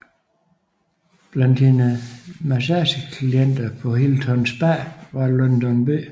Blandt hendes massageklienter på Hilton Spa var Lyndon B